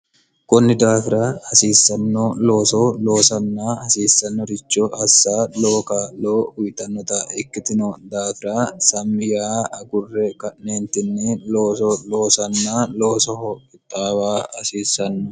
kunni daafira hasiissanno looso loosanna hasiissannoricho hassa lowo kaa'lo uyitannota ikkitino daafira samiyaa agurre ka'neentinni looso loosanna loosoho qixxaawa hasiissanno